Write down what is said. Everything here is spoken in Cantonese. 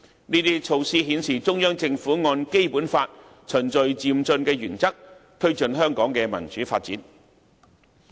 這些措施均顯示中央政府按《基本法》循序漸進的原則，推進香港的民主發展。